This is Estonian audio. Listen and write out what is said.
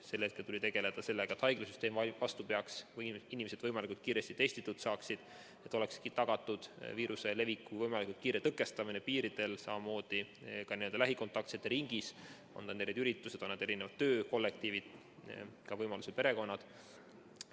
Sel hetkel tuli tegeleda sellega, et haiglasüsteem vastu peaks või inimesed võimalikult kiiresti testitud saaksid, et oleks tagatud viiruse leviku võimalikult kiire tõkestamine piiridel, samamoodi lähikontaktsete ringis, on need siis üritused, on need erinevad töökollektiivid, ka perekonnad.